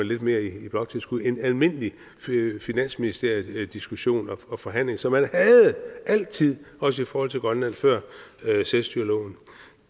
lidt mere i bloktilskud end ved almindelig finansministeriel diskussion og forhandling som man altid også i forhold til grønland før selvstyreloven